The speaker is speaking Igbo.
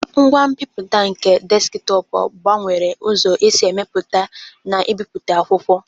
Ngwa mbiputa nke Deskitopu gbanwere ụzọ e si emepụta na ibipụta akwụkwọ.